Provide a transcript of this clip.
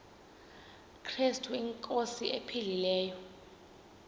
krestu inkosi ephilileyo